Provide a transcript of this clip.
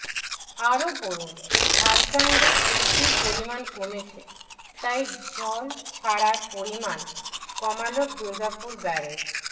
আরও পড়ুন ঝাড়খণ্ডে বৃষ্টির পরিমাণ কমেছে তাই জল ছাড়ার পরিমাণ কমাল দুর্গাপুর ব্যারেজ